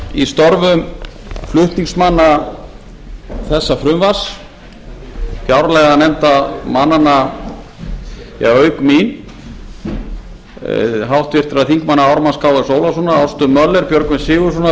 í störfum flutningsmanna þessa frumvarps fjárlaganefndarmannanna auk mín háttvirtir þingmenn ármanns krónu ólafssonar ástu möller björgvins g sigurðssonar